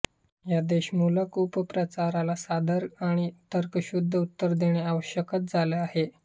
या द्वेषमूलक अपप्रचाराला साधार आणि तर्कशुद्ध उत्तरे देणे आवश्यकच झाले आहे